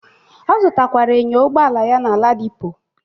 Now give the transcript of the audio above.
Ọ zutakwara enyo Ụgbọala ya na Ladipo.